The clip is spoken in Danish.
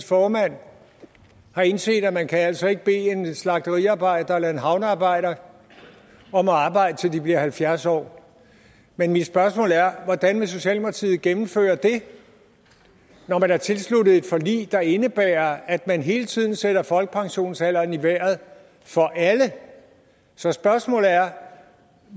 formand har indset at man altså ikke kan bede en slagteriarbejder eller en havnearbejder om at arbejde til de bliver halvfjerds år men mit spørgsmål er hvordan vil socialdemokratiet gennemføre det når man har tilsluttet sig et forlig der indebærer at man hele tiden sætter folkepensionsalderen i vejret for så spørgsmålet er